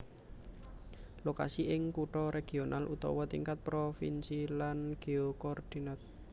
Lokasi ing kutha regional utawa tingkat provinsi lan geokordinat